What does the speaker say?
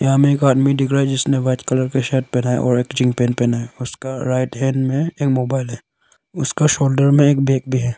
हमें एक आदमी दिख रहा है जिसने वाइट कलर का शर्ट पहना है और एक जींस पेंट पहना है और उसका राइट हैंड में एक मोबाइल है उसका सोल्डर में एक बैग भी है।